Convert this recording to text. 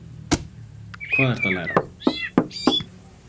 Hvað ertu að læra?